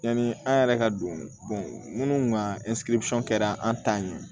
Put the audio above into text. Yanni an yɛrɛ ka don minnu ka kɛra an ta ye